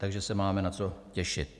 Takže se máme na co těšit.